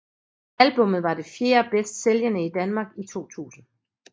Albummet var det fjerde bedst sælgende i Danmark i 2000